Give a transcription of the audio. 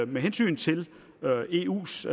med hensyn til eus